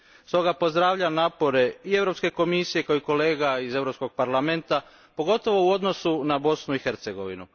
Stoga pozdravljam napore i Europske komisije i kolega iz Europskog parlamenta, pogotovo u odnosu na Bosnu i Hercegovinu.